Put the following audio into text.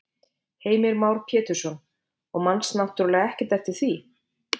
Heimir Már Pétursson: Og manst náttúrulega ekkert eftir því?